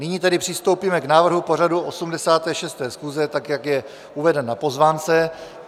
Nyní tedy přistoupíme k návrhu pořadu 86. schůze tak, jak je uvedeno na pozvánce.